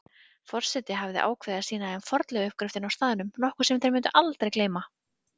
Forseti hafði ákveðið að sýna þeim fornleifauppgröftinn á staðnum, nokkuð sem þeir mundu aldrei gleyma.